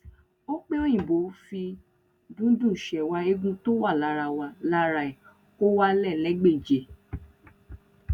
ọpẹòyìnbó fi dundún sẹwà ẹgún tó wà lára wà lára ẹ kó wá lè légbèje